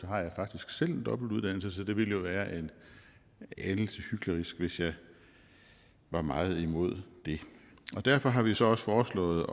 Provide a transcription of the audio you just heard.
jeg faktisk selv en dobbeltuddannelse så det ville jo være en anelse hyklerisk hvis jeg var meget imod det og derfor har vi så også foreslået